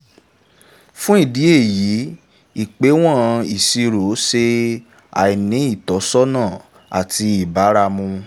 fún ìdí èyí ìpéwọ̀n ìsèsirò ṣe àìní ìtọ́sọ́nà àti ìbáramu